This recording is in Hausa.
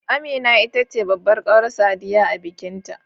Amina ita ce babbar kawar Sadiya a bikin ta